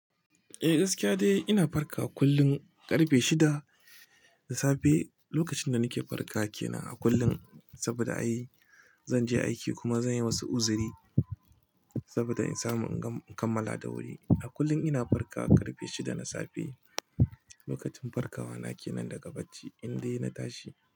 Eh, gaskiya dai ina farkawa kullum ƙarfe shida da safe. Lokacin da nake farkawa kenan a kullum saboda ai zan je aiki kuma zan yi wasu uzuri saboda in samu in kammala da wuri. A kullum ina farka ƙarfe shida na safe. Lokacin farkawa na ke nan daga bacci in dai na tashi.